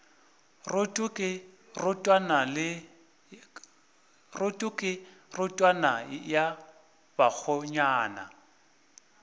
roto ke rotwane ya bakgonyana